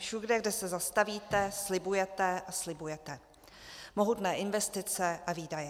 Všude, kde se zastavíte, slibujete, a slibujete mohutné investice a výdaje.